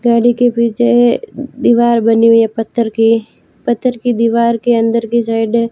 गाड़ी के पीछे दीवार बनी हुई पत्थर की पत्थर की दीवार के अंदर की साइड --